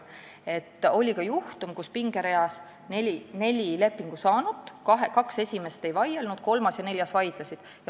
Oli ka selline juhtum, kus pingerea kaks esimest neljast lepingu saanust ei vaielnud, kolmas ja neljas vaidlesid.